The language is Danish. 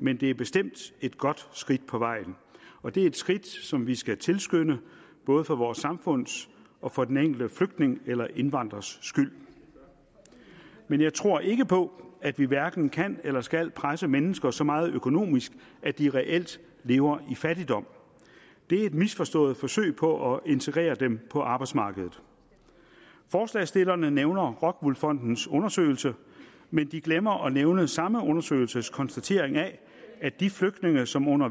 men det er bestemt et godt skridt på vejen og det er et skridt som vi skal tilskynde både for vores samfunds og for den enkelte flygtning eller indvandrers skyld men jeg tror ikke på at vi hverken kan eller skal presse mennesker så meget økonomisk at de reelt lever i fattigdom det er et misforstået forsøg på at integrere dem på arbejdsmarkedet forslagsstillerne nævner rockwool fondens undersøgelse men de glemmer at nævne samme undersøgelses konstatering af at de flygtninge som under